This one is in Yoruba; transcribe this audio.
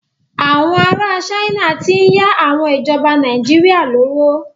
Àwọn ará China ti ń yá àwọn ìjọba Nàìjíríà lówó.